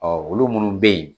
Ɔ olu minnu bɛ yen